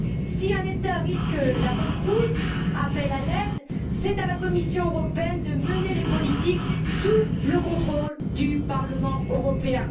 Si un État qui risque la banqueroute appelle à l'aide, c'est à la Commission européenne de mener les politiques sous le contrôle du Parlement européen.